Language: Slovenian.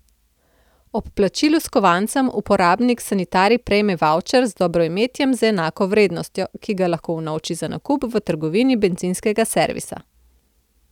Ob plačilu s kovancem uporabnik sanitarij prejme vavčer z dobroimetjem z enako vrednostjo, ki ga lahko unovči za nakup v trgovini bencinskega servisa.